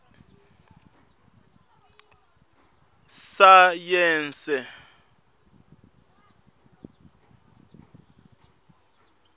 sayense